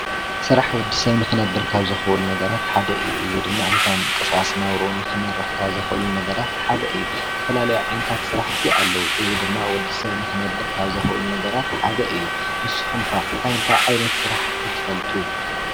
ስራሕ ወዲሰብ ንኽነብር ካብ ዘኽብሩ ነገራት ሓደ እዩ። እዚ ድማ ዕለታዊ ምንቅስቃስ ናብርኡ ንኽመርሕ ካብ ዘኽእሉ ነገራት ሓደ እዩ። ዝተፈላለዩ ዓይነታት ስራሕቲ ኣለዉ፣ እዚ ድማ ወድሰብ ንኽነብር ካብ ዘክእሉ ነገራት ሓደ እዩ። ንስኩም ከ ታይ ታይ ዓይነት ስራሕ'ቲ ትፈልጡ?